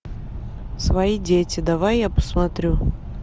свои дети давай я посмотрю